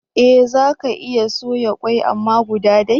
Eh zaka iya soya kwai amma guda day